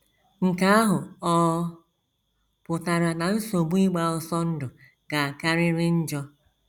Nke ahụ ọ̀ pụtara na nsogbu ịgba ọsọ ndụ ga - akarịrị njọ?